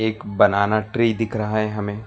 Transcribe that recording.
एक banana tree दिख रहा है हमें।